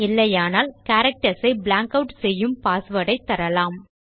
இல்லையானால் கேரக்டர்ஸ் ஐ blank add செய்யும் பாஸ்வேர்ட் ஐ தரலாம்